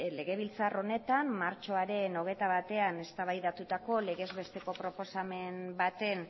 legebiltzar honetan martxoaren hogeita batean eztabaidatutako legez besteko proposamen baten